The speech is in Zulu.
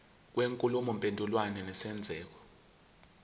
kwenkulumo mpendulwano nesenzeko